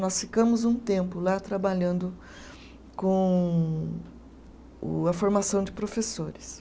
Nós ficamos um tempo lá trabalhando com o, a formação de professores.